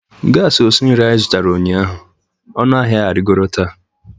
gas esi nri anyị zụtara ụnyaahụ, ọnụ ahịa arịgoro taa